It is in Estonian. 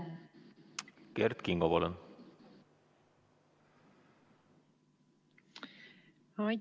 Kert Kingo, palun!